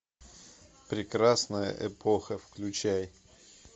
прекрасная эпоха включай